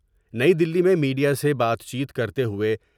نئی دلی میں میڈیا سے بات چیت کرتے ہوۓ ۔